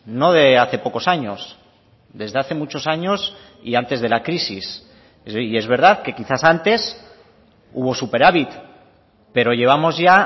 no de hace pocos años desde hace muchos años y antes de la crisis y es verdad que quizás antes hubo superávit pero llevamos ya